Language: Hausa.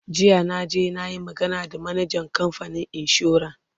jiya na je nayi magana da manajan kamfanin insuran